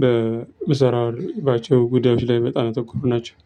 በምሰራባቸው ጉዳዮች ላይ በጣም ያተኮሩ ናቸው።